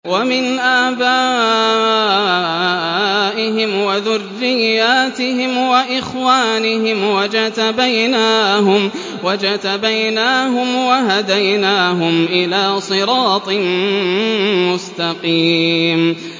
وَمِنْ آبَائِهِمْ وَذُرِّيَّاتِهِمْ وَإِخْوَانِهِمْ ۖ وَاجْتَبَيْنَاهُمْ وَهَدَيْنَاهُمْ إِلَىٰ صِرَاطٍ مُّسْتَقِيمٍ